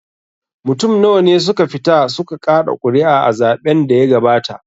Mutum nawa ne suka fita su ka kaɗa ƙuri'a a zaɓen da ya gabata?